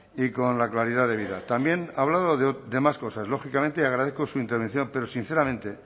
y con la claridad debida también ha hablado de más cosas lógicamente y agradezco su intervención pero sinceramente